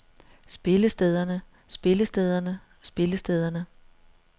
spillestederne spillestederne spillestederne